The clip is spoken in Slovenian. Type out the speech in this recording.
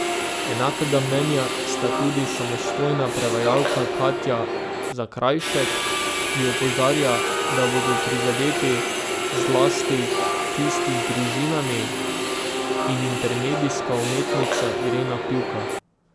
Enakega mnenja sta tudi samostojna prevajalka Katja Zakrajšek, ki opozarja, da bodo prizadeti zlasti tisti z družinami, in intermedijska umetnica Irena Pivka.